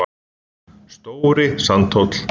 stóri sandhóll